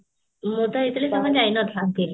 ମୁଁ ତ ହେଇଥିଲେ ଜମା ଯାଇନଥାନ୍ତି